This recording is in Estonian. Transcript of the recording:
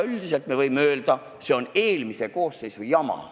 Üldiselt võime öelda, et see on eelmise koosseisu jama.